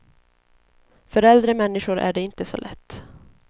För äldre människor är det inte så lätt.